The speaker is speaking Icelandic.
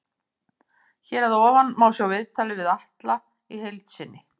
Hér að ofan má sjá viðtalið við Atla í heild sinni.